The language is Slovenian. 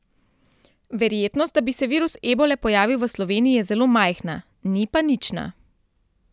Verjetnost, da bi se virus ebole pojavil v Sloveniji, je zelo majhna, ni pa nična.